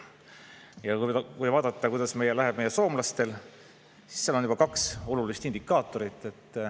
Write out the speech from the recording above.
Ja kui vaadata, kuidas läheb meie soomlastel, siis seal on juba kaks olulist indikaatorit.